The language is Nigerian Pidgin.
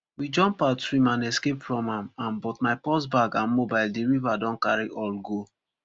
we jump out swim and escape from am am but my purse bag and mobile di rier don carry all go